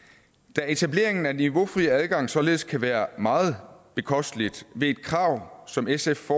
da etablering af niveaufri adgang således kan være meget bekosteligt ved et krav som sf